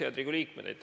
Head Riigikogu liikmed!